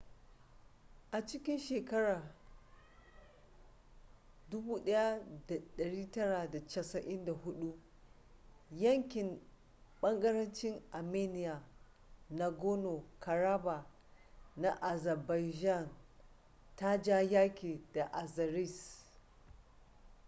a 1994 yankin bagarencin armenian nagorno-karabakh na azerbaijan ta ja yaki da azeris